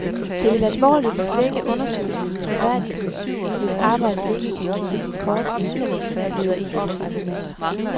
Det vil alvorligt svække undersøgelsens troværdighed, hvis arbejdet ikke kan kigges i kortene, lyder et af hans argumenter.